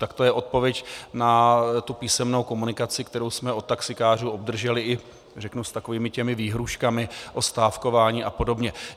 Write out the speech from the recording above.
Tak to je odpověď na tu písemnou komunikaci, kterou jsme od taxikářů obdrželi, řeknu, s takovými těmi výhrůžkami o stávkování a podobně.